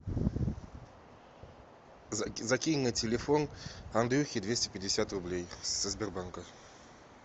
закинь на телефон андрюхе двести пятьдесят рублей со сбербанка